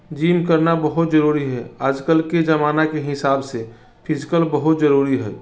जिम करना बहुत जरुरी है आजकल के जमाना के हिसाब से फिजिकल बहुत जरुरी है।